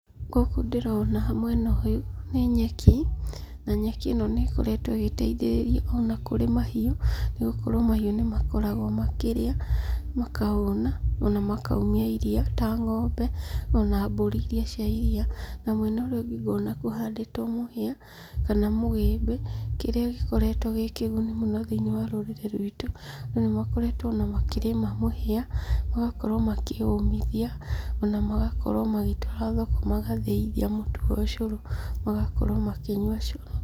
Gũkũ ndĩrona mwena ũyũ nĩ nyeki na nyeki ĩno nĩ ĩkoretwo ĩgĩteithĩrĩria ona kũrĩ mahiũ nĩgũkorwo mahĩu nĩ makoragwo makĩrĩa makahũna ona makaumia iria ta ngombe ona mbũri irĩa cia iria ,na mwena ũrĩa ũngĩ ngona kũhandĩtwo mũhia kana mũgĩmbĩ kĩrĩa gĩkoretwo gĩ kĩguni mũno thĩinĩ wa rũrĩrĩ rwĩtũ na nĩ makoretwo ona makĩrĩma mũhia magakorwo makĩ ũmithia ona magakorwo magĩtwara thoko magathĩithia mũtu wa cũrũ magakorwo makĩnyua cũrũ.